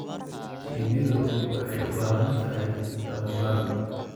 Shinnidu waxay u baahan tahay tababar.